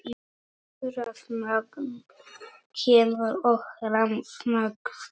Rafmagn kemur og rafmagn fer.